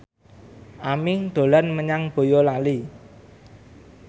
Aming dolan menyang Boyolali